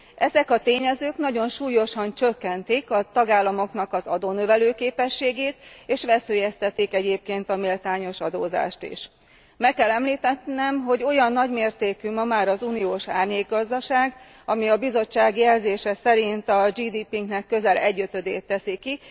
Ezek a tényezők nagyon súlyosan csökkentik a tagállamok adónövelő képességét, és veszélyeztetik egyébként a méltányos adózást is. Meg kell említenem, hogy olyan nagymértékű ma már az uniós árnyékgazdaság, ami a Bizottság jelzése szerint a GDP nknek közel egyötödét teszi ki.